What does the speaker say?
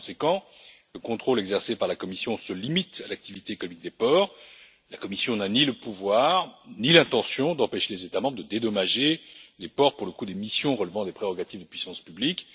Par conséquent, le contrôle exercé par la Commission se limite à l'activité économique des ports. La Commission n'a ni le pouvoir, ni l'intention d'empêcher les États membres de dédommager les ports pour le coût des missions relevant des prérogatives de la puissance publique.